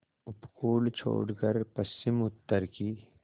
उपकूल छोड़कर पश्चिमउत्तर की